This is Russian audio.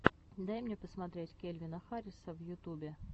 дай мне посмотреть кельвина харриса в ютубе